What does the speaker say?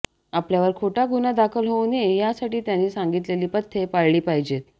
आपल्यावर खोटा गुन्हा दाखल होऊ नये यासाठी त्यांनी सांगितलेली पथ्ये पाळली पाहिजेत